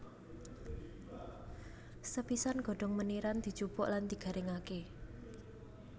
Sepisan godhong meniran dijupuk lan digaringké